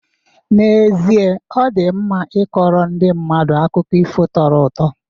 N'ezie, ọ dị mma ịkọrọ ndị mmadụ akụkọ ifo tọrọ ụtọ